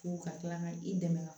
Fo ka kila ka i dɛmɛ ka